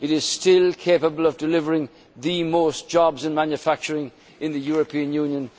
financed. It is still capable of delivering the most jobs in manufacturing in the European